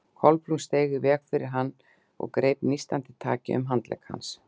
Kolbrún steig í veg fyrir hann og greip nístandi taki um handlegg hans.